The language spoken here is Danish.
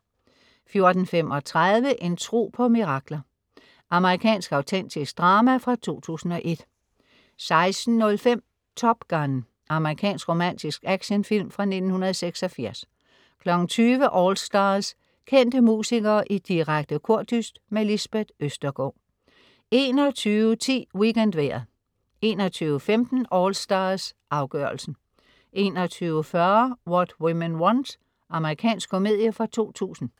14.35 En tro på mirakler. Amerikansk autentisk drama fra 2001 16.05 Top Gun. Amerikansk romantisk actionfilm fra 1986 20.00 AllStars. Kendte musikere i direkte kordyst. Lisbeth Østergaard 21.10 WeekendVejret 21.15 AllStars, afgørelsen 21.40 What Women Want. Amerikansk komedie fra 2000